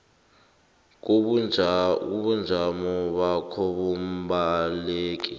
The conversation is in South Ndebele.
kobujamo bakho bombaleki